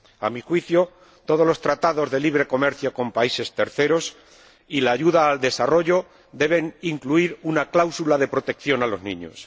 A mi juicio, todos los tratados de libre comercio con países terceros y la ayuda al desarrollo deben incluir una cláusula de protección de los niños.